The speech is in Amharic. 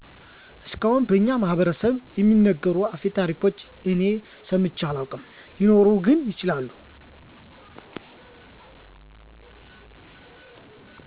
እስካሁን በኛ ማህበረስብ እሚነገሩ አፈታሪኮችን እኔ ሰምቼ አላውቅ ሊኖር ግን ይችላል